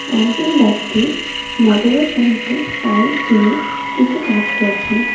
একজন ব্যক্তি মোটরের সাহায্যে পাইপ দিয়ে কিছু কাজ করছেন.